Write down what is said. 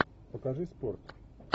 покажи спорт